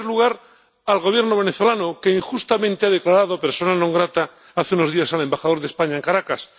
En primer lugar, al Gobierno venezolano, que injustamente ha declarado persona non grata hace unos días, al embajador de España en Caracas.